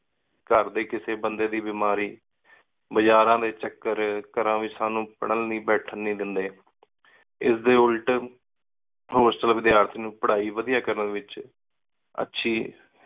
ਘਰ ਦੇ ਕਿਸੇ ਬੰਦੇ ਦੀ ਬੇਮਾਰੀ, ਬਾਜ਼ਾਰਾਂ ਦੇ ਚੱਕਰ, ਘਰਾਂ ਵਿਚ ਸਾਨੂ ਪੜਣ ਲੈ ਬੈਠਣ ਨੀ ਦਿੰਦੇ। ਇਸ ਦੇ ਉਲਟ ਹੋਸਟਲ ਵਿਦਿਆਰਥੀ ਨੂੰ ਪਢ਼ਾਈ ਵਧੀਆ ਕਰਨ ਵਿਚ ਅੱਛੀ